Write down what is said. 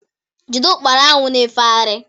Jide Ụkpana ahụ ná-efegharị